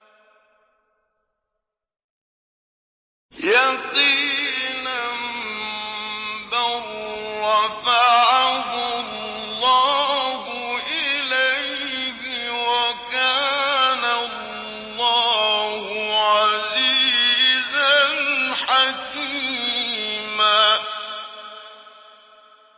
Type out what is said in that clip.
بَل رَّفَعَهُ اللَّهُ إِلَيْهِ ۚ وَكَانَ اللَّهُ عَزِيزًا حَكِيمًا